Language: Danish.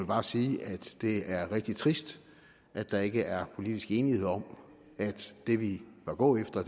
bare sige at det er rigtig trist at der ikke er politisk enighed om at det vi bør gå efter